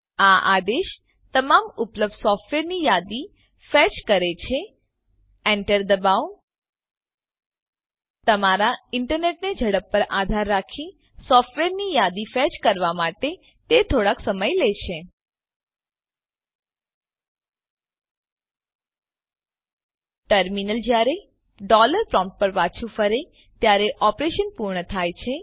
આ આદેશ તમામ ઉપલબ્ધ સોફ્ટવેરની યાદી ફેચ કરે છે એન્ટર દબાવો તમારા ઈન્ટરનેટની ઝડપ પર આધાર રાખી સોફ્ટવેરની યાદીને ફેચ કરવાં માટે તે થોડોક સમય લે છે ટર્મીનલ જયારે ડોલર પ્રોમ્પ્ટ પર પાછું ફરે ત્યારે ઓપરેશન પૂર્ણ થાય છે